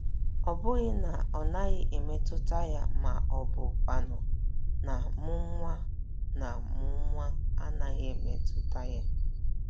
Ọ bụghị na ọ naghị emeta ya ma ọ bụkwanụ na mụnwa na mụnwa anaghị emeta ya.